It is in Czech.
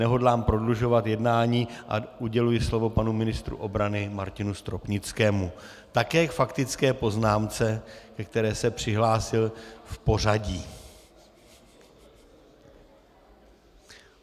Nehodlám prodlužovat jednání a uděluji slovo panu ministru obrany Martinu Stropnickému - také k faktické poznámce, ke které se přihlásil v pořadí.